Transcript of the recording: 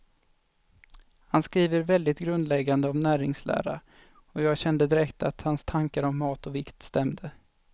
Han skriver väldigt grundläggande om näringslära, och jag kände direkt att hans tankar om mat och vikt stämde.